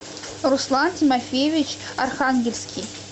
руслан тимофеевич архангельский